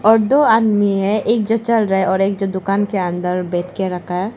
और दो आदमी है एक जो चल रहा है और एक जो दुकान के अंदर बैठ के रखा है।